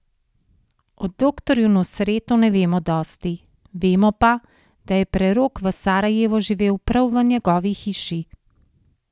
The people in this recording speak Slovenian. O doktorju Nusretu ne vemo dosti, vemo pa, da je prerok v Sarajevu živel prav v njegovi hiši.